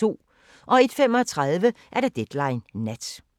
01:35: Deadline Nat